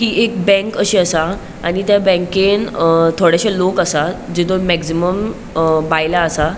इ एक बँक अशी असा आणि त्या बँकेन अ थोड़ेशे लोक असा जेतु मॅक्सिमम अ बायला असा.